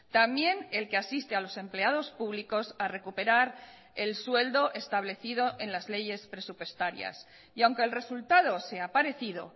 también el que asiste a los empleados públicos a recuperar el sueldo establecido en las leyes presupuestarias y aunque el resultado sea parecido